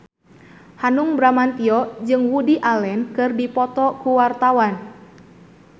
Hanung Bramantyo jeung Woody Allen keur dipoto ku wartawan